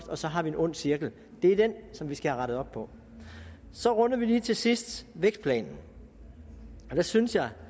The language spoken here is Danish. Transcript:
og så har vi en ond cirkel det er den som vi skal have rettet op på så runder vi lige til sidst vækstplanen der synes jeg